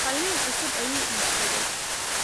Qalin cusub ayuu iibsaday